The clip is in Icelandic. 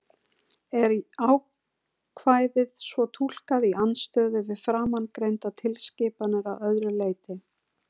Er ákvæðið svo túlkað í andstöðu við framangreindar tilskipanir að öðru leyti?